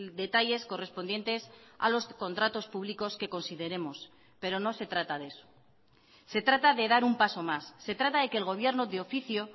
detalles correspondientes a los contratos públicos que consideremos pero no se trata de eso se trata de dar un paso más se trata de que el gobierno de oficio